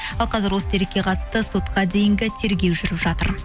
ал қазір осы дерекке қатысты сотқа дейінгі тергеу жүріп жатыр